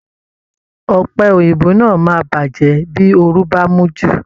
Ọ̀pẹ̀ Òyìnbó náà máa bàjẹ́ bí oru bá mú u ju